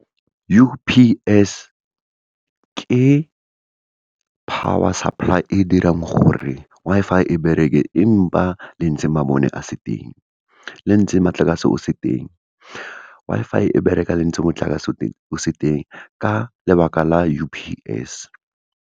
U_P_S, ke power supply e dirang gore Wi-Fi e bereke empa lentse mabone a se teng, lentse motlakase o se teng. Wi-Fi e bereka lentse motlakase o se teng, ka lebaka la U_P_S.